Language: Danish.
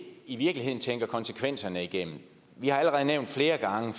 i virkeligheden ikke tænker konsekvenserne igennem vi har allerede